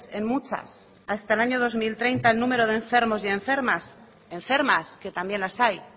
en muchas hasta el año dos mil treinta el número de enfermos y enfermas enfermas que también las hay